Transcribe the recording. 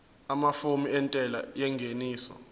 amafomu entela yengeniso